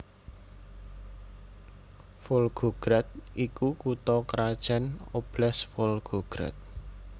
Volgograd iku kutha krajan Oblast Volgograd